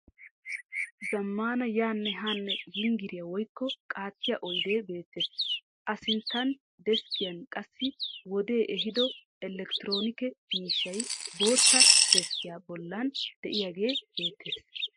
Zammaana yaanne haanne yinggiriya woykko qaattiya oydee beettees. A sinttan deskkiyan qassi wodee ehiido elektiroonikke miishshay bootta deskkiyan bollan diyagee beettees.